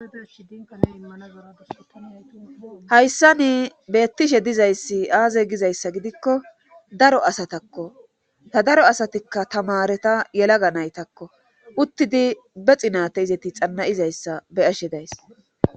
hayssani beettishe dizayssi aaze gizayssa gidikko daro asatakko ta daro asatikka tamareta yelaga naytakko uttidi be xinate izeti xanna7izayssa be7ashe days